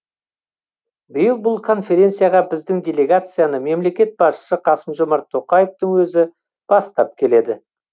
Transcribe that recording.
биыл бұл конференцияға біздің делегацияны мемлекет басшысы қасым жомарт тоқаевтың өзі бастап келеді